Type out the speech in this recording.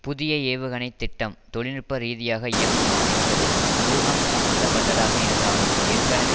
புதிய ஏவுகணை திட்டம் தொழில் நுட்ப ரீதியாக இயங்குமா என்பது ஊகம் சம்பந்தப்பட்டதாக இருந்தாலும் ஏற்கனவே